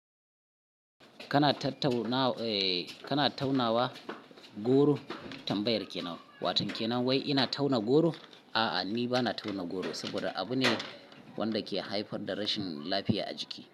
Kana ta-tauna, eh kana taunawa goro tambayar kenan, watan kenan wai ina tauna goro? A'a ni bana tauna goro saboda abu ne wanda ke haifar da rashin lafiya a jiki.